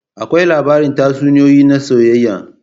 Akwai labaran tatsuniyoyi na soyayya.